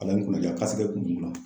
Ala ye n kunna diya kasike kun bɛn kunna.